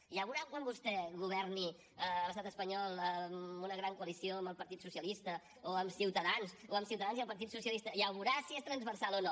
ja veurà quan vostè governi a l’estat espanyol amb una gran coalició amb el partit socialista o amb ciutadans o amb ciutadans i el partit socialista ja ho veurà si és transversal o no